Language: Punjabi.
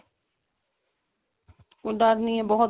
ਕੋਈ ਡਰ ਨਹੀ ਏ ਬਹੁਤ